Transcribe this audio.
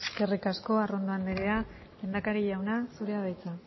eskerrik asko arrondo anderea lehendakari jauna zurea da hitza